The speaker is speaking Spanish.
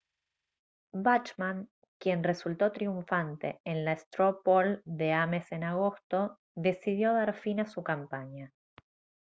bachmann quien resultó triunfante en la straw poll de ames en agosto decidió dar fin a su campaña